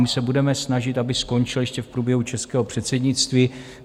My se budeme snažit, aby skončil ještě v průběhu českého předsednictví.